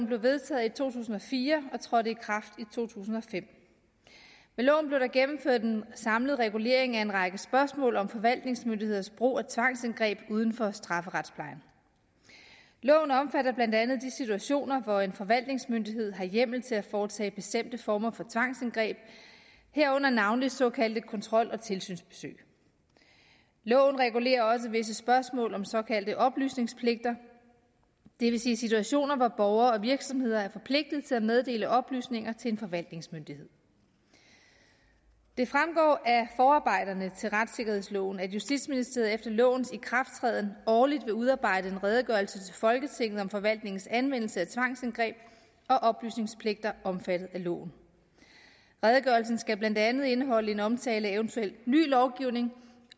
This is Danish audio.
blev vedtaget i to tusind og fire og trådte i kraft i to tusind og fem med loven blev der gennemført en samlet regulering af en række spørgsmål om forvaltningsmyndigheders brug af tvangsindgreb uden for strafferetsplejen loven omfatter blandt andet de situationer hvor en forvaltningsmyndighed har hjemmel til at foretage bestemte former for tvangsindgreb herunder navnlig såkaldte kontrol og tilsynsbesøg loven regulerer også visse spørgsmål om såkaldte oplysningspligter det vil sige situationer hvor borgere og virksomheder er forpligtet til at meddele oplysninger til en forvaltningsmyndighed det fremgår af forarbejderne til retssikkerhedsloven at justitsministeriet efter lovens ikrafttræden årligt vil udarbejde en redegørelse til folketinget om forvaltningens anvendelse af tvangsindgreb og oplysningspligter omfattet af loven redegørelsen skal blandt andet indeholde en omtale af eventuel ny lovgivning